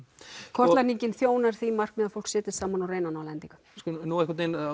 kortlagningin þjónar því markmiði að fólk setjist saman og reyni að ná lendingu nú